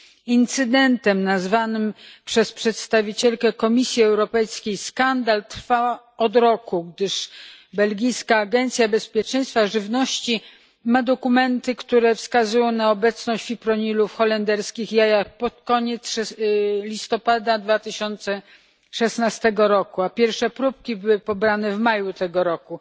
Incydentem nazwany przez przedstawicielkę Komisji Europejskiej skandal trwa od roku, gdyż belgijska Agencja Bezpieczeństwa Żywności ma dokumenty, które wskazują na obecności fipronilu w holenderskich jajach pod koniec listopada 2016 roku, a pierwsze próbki były pobrane w maju tego roku.